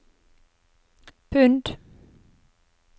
pund